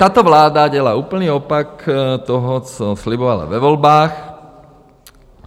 Tato vláda dělá úplný opak toho, co slibovala ve volbách.